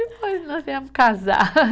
E depois nós viemos casar.